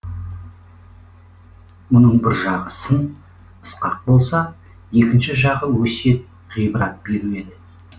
мұның бір жағы сын сықақ болса екінші жағы өсиет ғибрат беру еді